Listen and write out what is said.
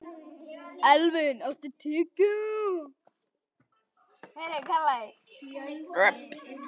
Elvin, áttu tyggjó?